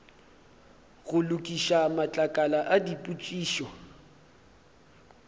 go lokiša matlakala a dipotšišo